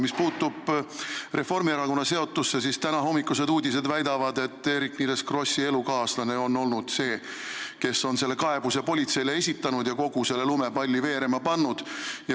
Mis puutub Reformierakonna seotusse, siis tänahommikused uudised väidavad, et Eerik-Niiles Krossi elukaaslane oli see, kes selle kaebuse politseile esitas ja kogu selle lumepalli veerema pani.